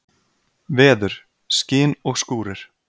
Veður: Skin og skúrir.